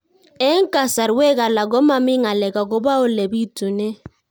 Eng' kasarwek alak ko mami ng'alek akopo ole pitunee